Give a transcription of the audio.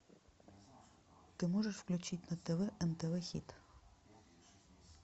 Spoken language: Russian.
ты можешь включить на тв нтв хит